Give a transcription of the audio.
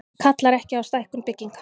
Kallar ekki á stækkun bygginga